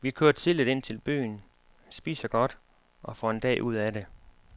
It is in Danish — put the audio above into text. Vi kører tidligt ind til byen, spiser godt, og får en dag ud af det.